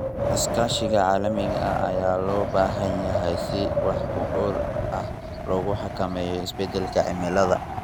Iskaashiga caalamiga ah ayaa loo baahan yahay si si wax ku ool ah loogu xakameeyo isbedelka cimilada.